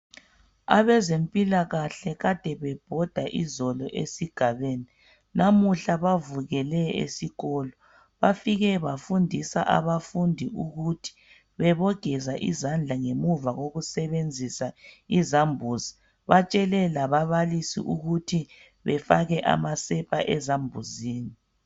Abezempilakahle kade bebhoda izolo esigabeni namuhla bavukele esikolo, bafike bafundisa abafundi ukuthi bebogeza izandla ngemuva kokusebenzisa izambuzi, batshele lababalisi ukuthi befake amasepa ezambuzini.